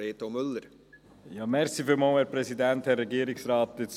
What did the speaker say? Reto Müller für die SP-JUSO-PSA-Fraktion.